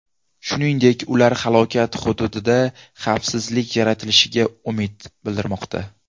Shuningdek, ular halokat hududida xavfsizlik yaratilishiga umid bildirmoqda.